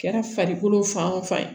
Kɛra farikolo fan o fan ye